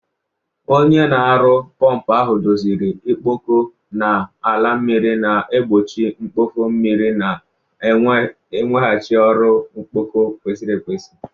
Onye na-aru pọmpụ ahụ doziri ọkpọkọ na-ala mmiri, na-egbochi mkpofu mmiri na iweghachi ọrụ ọkpọkọ kwesịrị ekwesị.